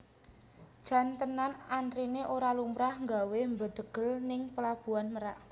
Jan tenan antrine ora lumrah nggawe mbedhegel ning Pelabuhan Merak